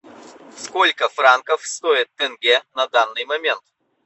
сколько франков стоит тенге на данный момент